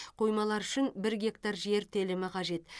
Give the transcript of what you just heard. қоймалар үшін бір гектар жер телімі қажет